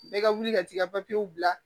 Bɛɛ ka wuli ka t'i ka papiyew bila